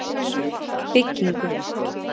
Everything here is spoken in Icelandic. Byggingu